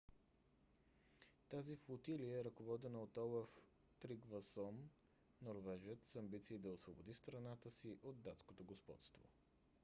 тази флотилия е ръководена от олаф тригвасон норвежец с амбиции да освободи страната си от датското господство